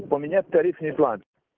поменять тарифный план